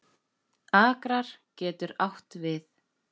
Akrar getur átt við